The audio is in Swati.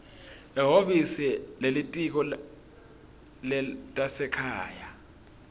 ehhovisi lelitiko letasekhaya